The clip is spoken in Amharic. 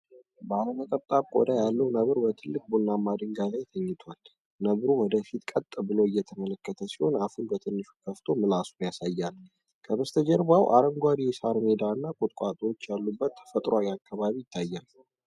ባለ ነጠብጣብ ቆዳ ያለው ነብር በትልቅ ቡናማ ድንጋይ ላይ ተኝቷል። ነብሩ ወደ ፊት ቀጥ ብሎ እየተመለከተ ሲሆን አፉን በትንሹ ከፍቶ ምላሱን ያሳያል። ከበስተጀርባው አረንጓዴ የሳር ሜዳ እና ቁጥቋጦዎች ያሉበት ተፈጥሯዊ አካባቢ ይታያል።